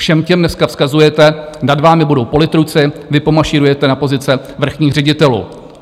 Všem těm dneska vzkazujete: nad vámi budou politruci, vy pomašírujete na pozice vrchních ředitelů.